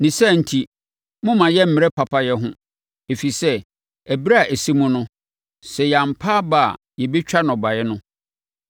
Ne saa enti, mommma yɛmmmrɛ papayɛ ho, ɛfiri sɛ, ɛberɛ a ɛsɛ mu no, sɛ yɛampa aba a yɛbɛtwa nnɔbaeɛ no.